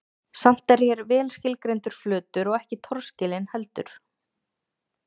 Samt er hér vel skilgreindur flötur og ekki torskilinn heldur.